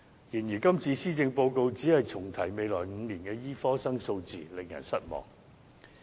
然而，今次施政報告只是重提未來5年的醫科生數字，令人失望。